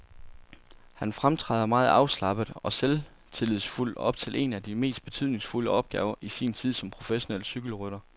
Han fremtræder meget afslappet og selvtillidsfuld op til en af de mest betydningsfulde opgaver i sin tid som professionel cykelrytter.